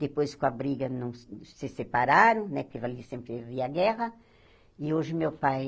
Depois, com a briga não, se separaram né, porque ali sempre havia guerra, e hoje meu pai